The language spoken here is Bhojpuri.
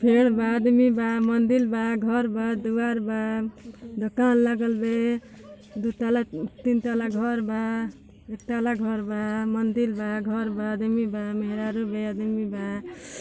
फेड़ बा अदमी बा मंदील बा घर बा दुआर बा। दोकान लागल बे। दु तल्ला न् तीन तल्ला घर बा एक ताला घर बा मंदिल बा घर बा अदमी बा मेहरारू बे अदमी बा।